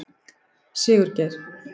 Sigurgeir